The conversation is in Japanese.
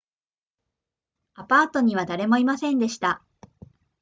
アパートには誰もいませんでした